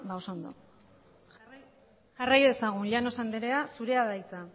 oso ondo jarrai dezagun llanos andrea zurea da hitza